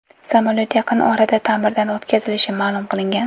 Samolyot yaqin orada ta’mirdan o‘tkazilishi ma’lum qilingan.